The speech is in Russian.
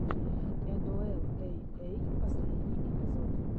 энуэл эй эй последний эпизод